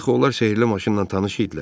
Axı onlar sehrli maşınla tanış idilər.